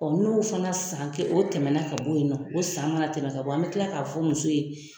n'o fana san kɛ o tɛmɛ na ka bɔ ye nɔ o san mana tɛmɛ ka bɔ an bɛ kila k'a fɔ muso ye